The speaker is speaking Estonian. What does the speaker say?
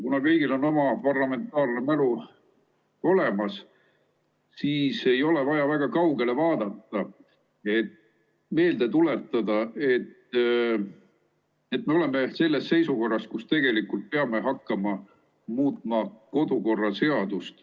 Kuna kõigil on oma parlamentaarne mälu olemas, siis ei ole vaja väga kaugele vaadata, et meelde tuletada, et me oleme selles seisukorras, kus tegelikult peame hakkama muutma kodukorraseadust.